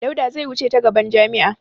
Dauda zai wuce ta gaban jami'a.